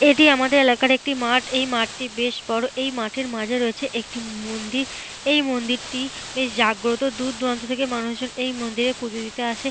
এটি আমাদের এলাকার একটি মাঠ। এই মাঠটি বেশ বড়। এই মাঠের মাঝে রয়েছে একটি মন্দির। এই মন্দিরটি বেশ জাগ্রত। দূর দূরান্ত থেকে মানুষজন এই মন্দিরে পুজো দিতে আসে।